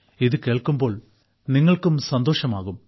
ഇത് കേൾക്കുമ്പോൾ നിങ്ങൾക്കും സന്തോഷമാകും